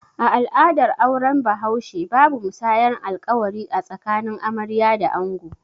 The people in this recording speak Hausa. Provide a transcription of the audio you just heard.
A al'adar auren bahaushe, babu musayar alƙawari a tsakanin amarya da ango